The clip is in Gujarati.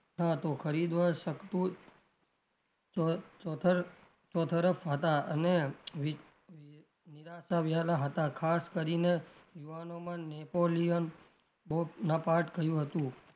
હતો ખરીદવા શકતું ચો ચો ચો તરફ હતાં અને ની નિરાશા વિહાલા હતાં ખાસ કરીને યુવાનોમાં નેપોલિયન બોનાપાર્ટ કહ્યું હતું.